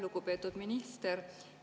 Lugupeetud minister!